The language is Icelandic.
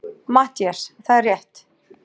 MATTHÍAS: Það er rétt!